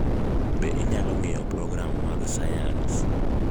Be inyalo ng'iyo program mag sayans?